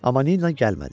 Amma Nina gəlmədi.